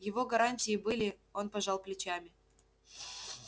его гарантии были он пожал плечами